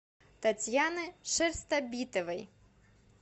татьяны шерстобитовой